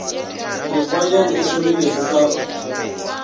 mekgwa yeo e hlomilwego ka